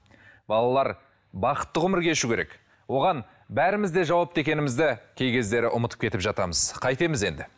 балалар бақытты ғұмыр кешу керек оған бәріміз де жауапты екенімізді кей кездері ұмытып кетіп жатамыз қайтеміз енді